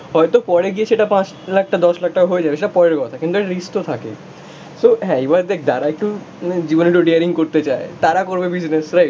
হয়তো পরে গিয়ে সেটা পাঁচ লাখটা দশ লাখ টাকা হয়ে যাবে, সেটা পরের কথা, কিন্তু একটা রিস্ক তো থাকেই সো হ্যাঁ এবার দেখ যারা একটু জীবনে একটু ডেয়ারিং করতে চায় তারা করবে বিজনেস, রাইট?